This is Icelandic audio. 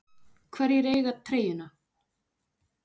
Hverjir eiga treyjuna?